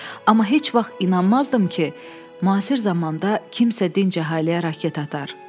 Amma heç vaxt inanmazdım ki, müasir zamanda kimsə dinc əhaliyə raket atar.